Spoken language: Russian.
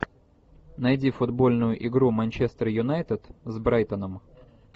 найди футбольную игру манчестер юнайтед с брайтоном